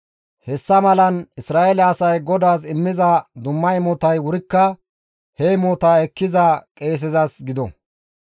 Hessa malan Isra7eele asay GODAAS immiza dumma imotay wurikka he imotaa ekkiza qeesezas gido.